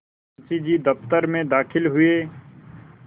मुंशी जी दफ्तर में दाखिल हुए